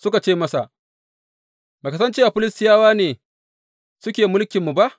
Suka ce masa, Ba ka san cewa Filistiyawa ne suke mulkinmu ba?